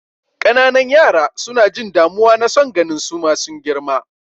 Ƙananan yara suna jin damuwa na son ganin suma sun girma.